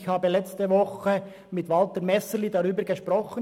Ich habe letzte Woche mit Walter Messerli darüber gesprochen.